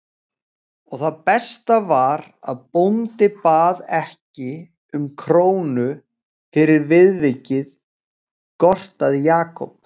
Og það besta var að bóndi bað ekki um krónu fyrir viðvikið gortaði Jakob.